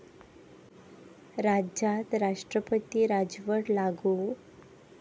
राज्यात राष्ट्रपती राजवट लागू?